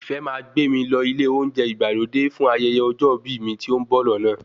Ìfẹ́ máa gbé mi lọ ilé oúnjẹ ìgbàlódé fún ayẹyẹ ọjọ́ ìbí mi tí ó ń bọ̀ lọ́nà